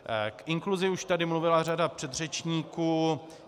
K inkluzi už tady mluvila řada předřečníků.